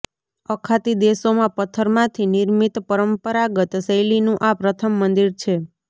અખાતી દેશોમાં પથ્થરમાંથી નિર્મિત પરંપરાગત શૈલીનું આ પ્રથમ મંદિર છે